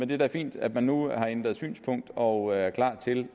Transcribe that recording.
det er da fint at man nu har ændret synspunkt og er klar til